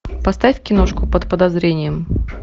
поставь киношку под подозрением